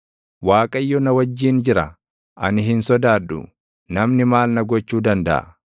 Waaqayyo na wajjin jira; ani hin sodaadhu; namni maal na gochuu dandaʼa?